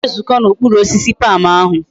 Ha ga ezuko na okpuru osisi palm ahu